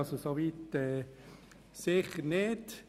Das stimmt sicher nicht.